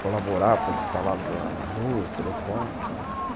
colaborar para instalar luz, telefone e tal.